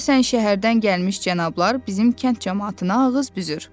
Deyəsən, şəhərdən gəlmiş cənablar bizim kənd camaatına ağız büzür.